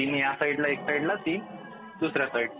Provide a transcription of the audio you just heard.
ह्या साईड ला तीन तीन दुसऱ्या साईडला